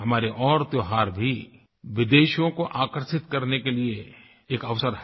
हमारे और त्योहार भी विदेशियों को आकर्षित करने के लिये एक अवसर हैं